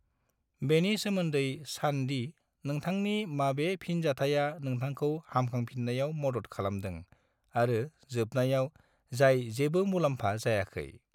बेनि सोमोन्दै सान दि नोंथांनि माबे फिनजाथाया नोंथांखौ हामखांफिननायाव मदद खालामदों आरो जोबनायाव जाय जेबो मुलाम्फा जायाखै।